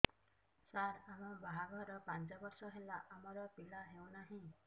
ସାର ଆମ ବାହା ଘର ପାଞ୍ଚ ବର୍ଷ ହେଲା ଆମର ପିଲା ହେଉନାହିଁ